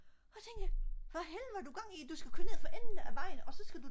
og så tænker jeg hvad helvede har du gang i du skal køre ned for enden af vejen og så skal du